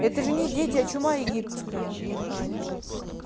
это же не дети а чума египетская